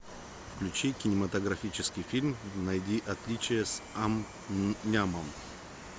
включи кинематографический фильм найди отличия с ам мнямом